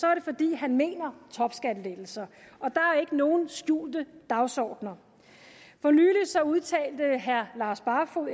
er det fordi han mener topskattelettelser og ikke nogen skjulte dagsordener for nylig udtalte herre lars barfoed